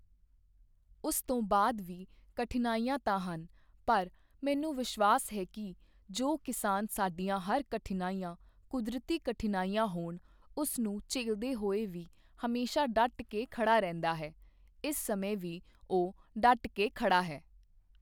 ਉਸ ਤੋਂ ਬਾਅਦ ਵੀ ਕਠਿਨਾਈਆਂ ਤਾਂ ਹਨ, ਪਰ ਮੈਨੂੰ ਵਿਸ਼ਵਾਸ ਹੈ ਕਿ ਜੋ ਕਿਸਾਨ ਸਾਡੀਆਂ ਹਰ ਕਠਿਨਾਈਆਂ, ਕੁਦਰਤੀ ਕਠਿਨਾਈਆਂ ਹੋਣ, ਉਸ ਨੂੰ ਝੱਲਦੇ ਹੋਏ ਵੀ ਹਮੇਸ਼ਾ ਡਟ ਕੇ ਖੜ੍ਹਾ ਰਹਿੰਦਾ ਹੈ, ਇਸ ਸਮੇਂ ਵੀ ਉਹ ਡਟ ਕੇ ਖੜ੍ਹਾ ਹੈ।